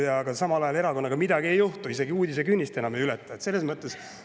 Aga samal ajal selle erakonnaga midagi ei juhtu, isegi uudisekünnist enam ei ületa.